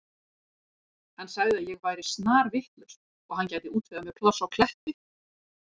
Hann sagði að ég væri snarvitlaus og hann gæti útvegað mér pláss á Kleppi.